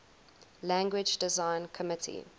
language design committee